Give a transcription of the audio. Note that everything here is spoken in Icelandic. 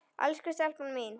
Elsku stelpan mín.